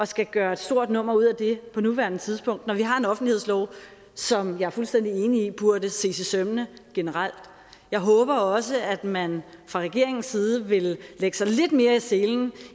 skal gøre et stort nummer ud af det på nuværende tidspunkt når vi har en offentlighedslov som jeg er fuldstændig enig i burde ses efter i sømmene generelt jeg håber også at man fra regeringens side vil lægge sig lidt mere i selen